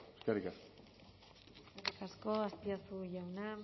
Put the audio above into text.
eskerrik asko eskerrik asko azpiazu jauna